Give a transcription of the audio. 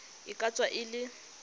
e ka tswa e le